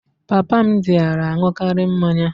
Papa m dịara aṅụkarị mmanya